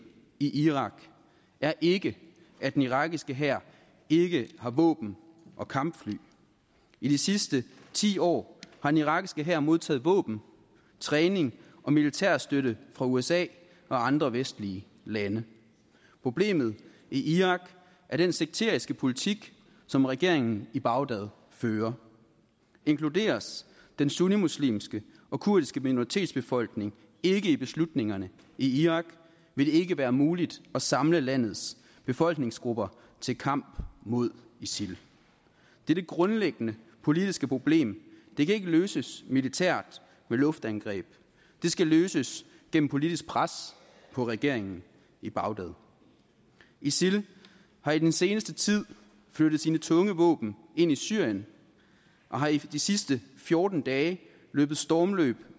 i irak er ikke at den irakiske hær ikke har våben og kampfly i de sidste ti år har den irakiske hær modtaget våben træning og militærstøtte fra usa og andre vestlige lande problemet i irak er den sekteriske politik som regeringen i bagdad fører inkluderes den sunnimuslimske og kurdiske minoritetsbefolkning ikke i beslutningerne i irak vil det ikke være muligt at samle landes befolkningsgrupper til kamp mod isil dette grundlæggende politiske problem kan ikke løses militært med luftangreb det skal løses gennem politisk pres på regeringen i bagdad isil har i den seneste tid flyttet sine tunge våben ind i syrien og har i de sidste fjorten dage løbet stormløb